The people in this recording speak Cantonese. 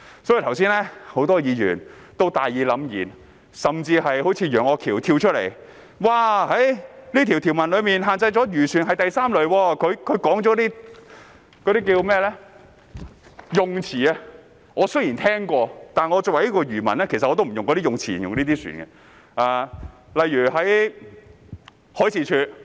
多位議員剛才都大義凜然發言，一如楊岳橋議員般跳出來發言，指條文限制的漁船是第 III 類，他說的那些用詞，我雖然聽過，但作為漁民，我也不用那些用詞來形容這些船。